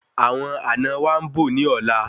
Awọn àna wa ńbò ní ọ̀la